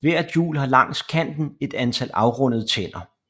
Hvert hjul har langs kanten et antal afrundede tænder